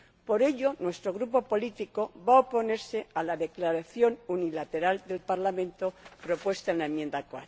Por ello, nuestro grupo político va a oponerse a la declaración unilateral del Parlamento propuesta en la enmienda